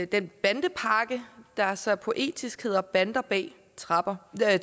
den bandepakke der så poetisk hedder bander bag tremmer jeg